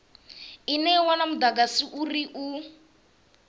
ine ya wana mudagasi u